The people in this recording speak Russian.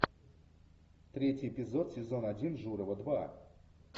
третий эпизод сезон один журова два